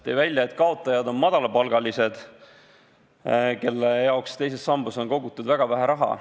Ta tõi välja, et kaotajad on madalapalgalised, kelle jaoks on teises sambas kogutud väga vähe raha.